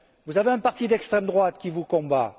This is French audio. Vous avez un parti d'extrême droite qui vous combat.